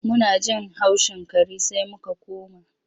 Muna jin haushin kare sai muka koma.